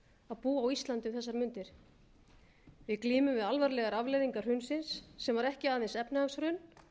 að búa á íslandi um þessar mundir við glímum við alvarlegar afleiðingar hrunsins sem voru ekki aðeins efnahagshrun